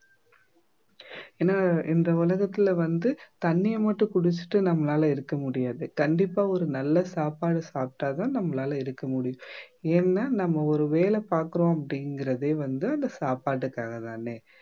ஏன்னா இந்த உலகத்துல வந்து தண்ணிய மட்டும் குடிச்சிட்டு நம்மளால இருக்க முடியாது கண்டிப்பா ஒரு நல்ல சாப்பாடு சாப்பிட்டாதான் நம்மளால இருக்க முடியும் ஏன்னா நம்ம ஒரு வேலை பார்க்கிறோம் அப்படிங்கறதே வந்து அந்த சாப்பாட்டுக்காக தானே